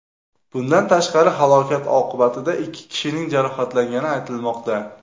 Bundan tashqari, halokat oqibatida ikki kishining jarohatlangani aytilmoqda.